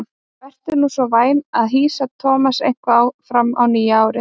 Vertu nú svo vænn að hýsa Thomas eitthvað fram á nýja árið.